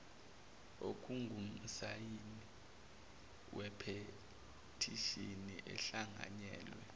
ongumsayini wephethishini ehlanganyelwe